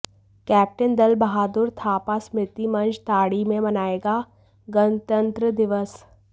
captain Dal Bahadur Thapa स्मृति मंच दाड़ी में मनाएगा गणतंत्र दिवस